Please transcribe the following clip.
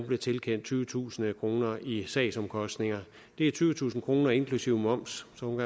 blev tilkendt tyvetusind kroner i sagsomkostninger det er tyvetusind kroner inklusive moms så hun